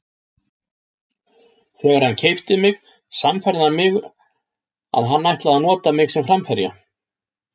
Þegar hann keypti mig sannfærði hann mig að hann ætlaði að nota mig sem framherja.